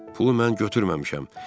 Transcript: Pulu mən götürməmişəm.